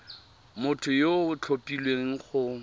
motho yo o tlhophilweng go